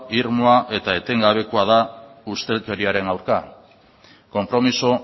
irmoa eta etengabekoa da ustelkeriaren aurka konpromiso